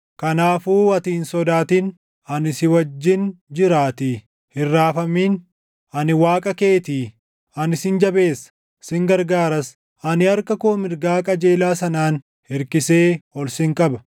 Kanaafuu ati hin sodaatin; ani si wajjin jiraatii; hin raafamin; ani Waaqa keetii. Ani sin jabeessa; sin gargaaras; ani harka koo mirgaa qajeelaa sanaan hirkisee ol sin qaba.